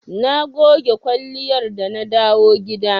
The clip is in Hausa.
Na goge kwalliyar da na dawo gida.